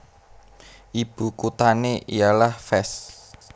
Ibu kuthané ialah Fès